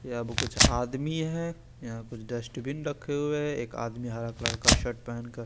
या बू कुछ आदमी है या पर डस्टबिन रखे हुए है एक आदमी हरा कलर का शर्ट पेहेन कर--